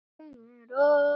Við lærðum mikið af honum.